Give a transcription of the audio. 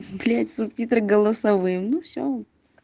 блять субтитры голосовым ну все